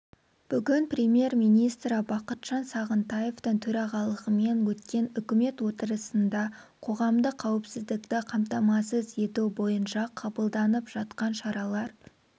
бүгін премьер-министрі бақытжан сағынтаевтың төрағалығымен өткен үкімет отырысында қоғамдық қауіпсіздікті қамтамасыз ету бойынша қабылданып жатқан шаралар